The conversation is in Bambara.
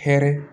Hɛrɛ